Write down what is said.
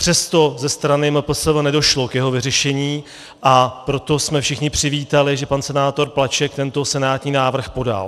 Přesto ze strany MPSV nedošlo k jeho vyřešení, a proto jsme všichni přivítali, že pan senátor Plaček tento senátní návrh podal.